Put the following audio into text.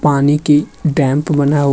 पानी के डैम्प बना हु --